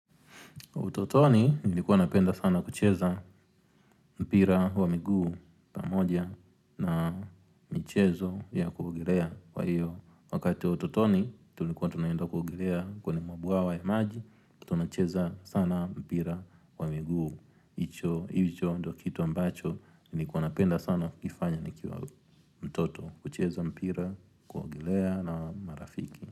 Utotoni, nilikuwa napenda sana kucheza mpira wa miguu pamoja na michezo ya kuogellea kwa hiyo Wakati wa utotoni, tulikuwa tunaenda kuogelea kwenye mabwawa ya maji, tunacheza sana mpira wa miguu. Hicho, hicho, ndo kitu ambacho nilikuwa napenda sana kifanya nikiwa mtoto kucheza mpira, kuogelea na marafiki.